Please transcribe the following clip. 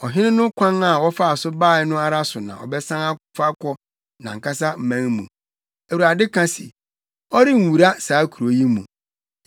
Ɔhene no kwan a ɔfaa so bae no ara so na ɔbɛsan afa akɔ nʼankasa man mu.” Awurade ka se, “Ɔrenwura saa kurow yi mu.